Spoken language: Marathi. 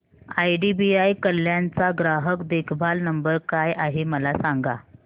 आयडीबीआय कल्याण चा ग्राहक देखभाल नंबर काय आहे मला सांगा